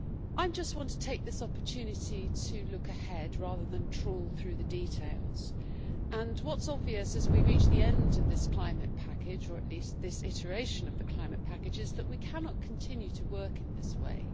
I just want to take this opportunity to look ahead rather than trawl through the details, and what is obvious as we reach the end of this climate package or at least this iteration of the climate package is that we cannot continue to work in this way.